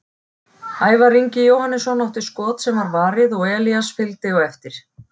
Ævar Ingi Jóhannesson átti skot sem var varið og Elías fylgdi eftir.